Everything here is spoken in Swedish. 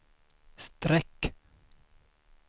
streck